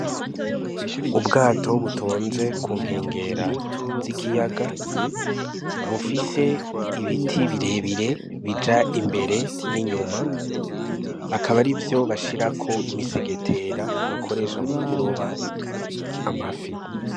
Ubwato butonze kunkengera z'ikiyaga , bufise ibiti birebire bija imbere n'inyuma , akaba ari vyo bashirako imisegetera bakoresha mu kuroba amafi.